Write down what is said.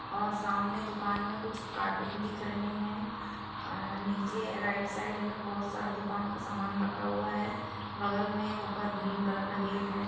और सामने दूकान में कुछ काटून दिख रहे है अ नीचे राइट साइड में बहोत सारा दूकान का समान रखा हुआ है बगल में ऊपर ग्रीन कलर का गेट है।